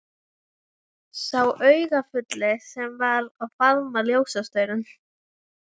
Sá augafulli sem var að faðma ljósastaurinn.